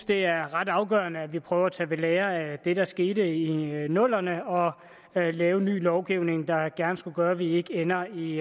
det er ret afgørende at vi prøver at tage ved lære af det der skete i nullerne og lave ny lovgivning der gerne skulle gøre at vi ikke ender i